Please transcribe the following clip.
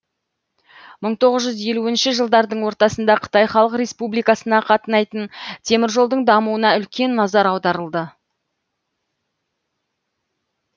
мың тоғыз жүз елуінші жылдардың ортасында қытай халық республикасына қатынайтын теміржолдың дамуына үлкен назар аударылды